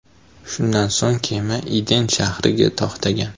Shundan so‘ng kema Iden shahriga to‘xtagan.